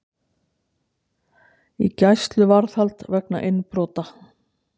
Í gæsluvarðhald vegna innbrota